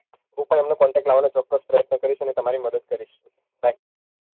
હું પણ એમનો contact લાવવાનો ચોક્કસ પ્રયત્ન કરીશ અને તમારી મદદ કરીશ bye